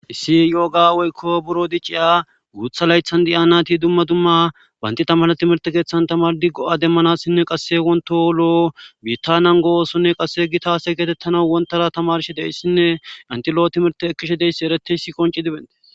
issi yo7oga woykko buro diciya guutha laythan diya nati dumma dumma baynti tamane timirte keeththan tamar diggo7a demmanassinne qasse wonto oloo bita nan go7oosonne qasse gi taase geetettana wontara tamarshi deyssinne antilo7o timirte ekkishe deyssi ereteysi qonci dibente